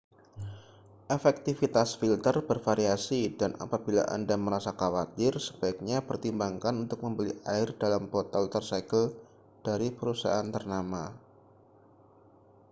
efektivitas filter bervariasi dan apabila anda merasa khawatir sebaiknya pertimbangkan untuk membeli air dalam botol tersegel dari perusahaan ternama